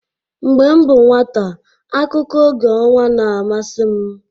Mgbe m bụ nwata, akụkọ oge ọnwa na-amasị m.